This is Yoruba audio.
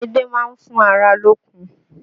Edé máa fún ara lókun